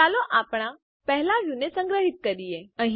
ચાલો આપણા પહેલા વ્યુંને સંગ્રહિત કરીએ